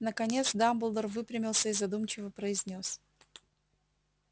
наконец дамблдор выпрямился и задумчиво произнёс